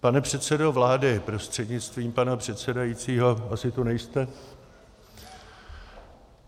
Pane předsedo vlády prostřednictvím pana předsedajícího - asi tu nejste.